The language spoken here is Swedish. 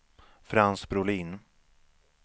Frans Brolin